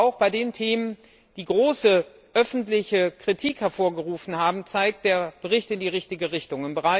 Und auch bei den Themen, die große öffentliche Kritik hervorgerufen haben, zeigt der Bericht in die richtige Richtung.